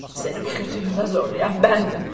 Səni bu kötü yola zorlayan bəndim.